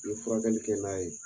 furakɛli kɛ n'a ye.